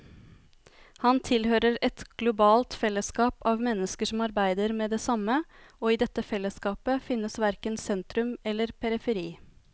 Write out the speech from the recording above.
Han tilhører et globalt fellesskap av mennesker som arbeider med det samme, og i dette fellesskapet fins verken sentrum eller periferi.